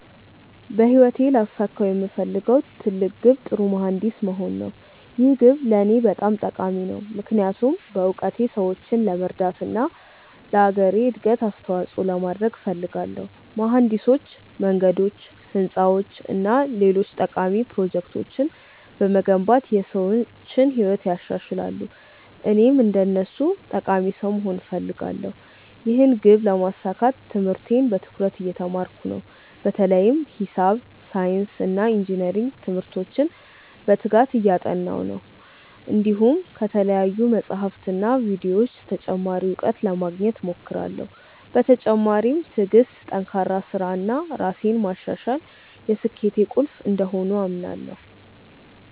በህይወቴ ላሳካው የምፈልገው ትልቅ ግብ ጥሩ መሀንዲስ መሆን ነው። ይህ ግብ ለእኔ በጣም ጠቃሚ ነው፣ ምክንያቱም በእውቀቴ ሰዎችን ለመርዳት እና ለአገሬ እድገት አስተዋፅኦ ለማድረግ እፈልጋለሁ። መሀንዲሶች መንገዶች፣ ህንፃዎች እና ሌሎች ጠቃሚ ፕሮጀክቶችን በመገንባት የሰዎችን ህይወት ያሻሽላሉ፣ እኔም እንደነሱ ጠቃሚ ሰው መሆን እፈልጋለሁ። ይህን ግብ ለማሳካት ትምህርቴን በትኩረት እየተማርኩ ነው፣ በተለይም ሂሳብ፣ ሳይንስ እና ኢንጅነሪንግ ትምህርቶችን በትጋት እያጠናሁ ነው። እንዲሁም ከተለያዩ መጻሕፍትና ቪዲዮዎች ተጨማሪ እውቀት ለማግኘት እሞክራለሁ። በተጨማሪም ትዕግሥት፣ ጠንካራ ሥራ እና ራሴን ማሻሻል የስኬቴ ቁልፍ እንደሆኑ አምናለሁ።